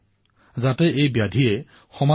সন্তানসকলৰ জীৱন যাতে ধ্বংস নকৰে